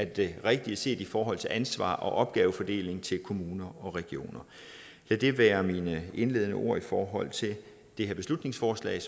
det rigtige set i forhold til ansvar og opgavefordeling til kommuner og regioner lad det være mine indledende ord i forhold til det her beslutningsforslag